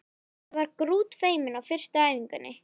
Ég var grútfeimin á fyrstu æfingunni.